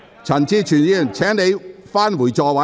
陳志全議員，請你返回座位。